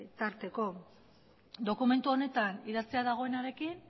tarteko dokumentu honetan idatzita dagoenarekin